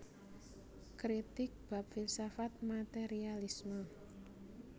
Kritik bab filsafat materialisme